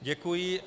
Děkuji.